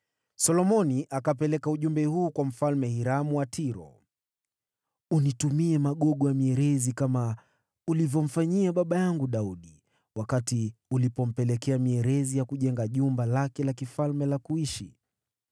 Solomoni akapeleka ujumbe huu kwa Mfalme Hiramu wa Tiro: “Unitumie magogo ya mierezi kama ulivyomfanyia baba yangu Daudi wakati ulipompelekea mierezi ya kujenga jumba lake la kifalme la kuishi.